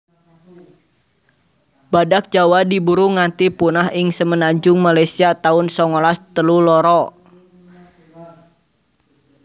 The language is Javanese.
Badhak Jawa diburu nganti punah ing semenanjung Malaysia taun songolas telu loro